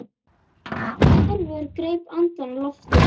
Hervör greip andann á lofti.